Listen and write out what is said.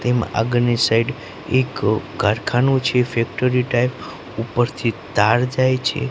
તેમા આગળ ની સાઈડ એક કારખાનું છે ફેક્ટરી ટાઈપ ઉપરથી તાર જાય છે.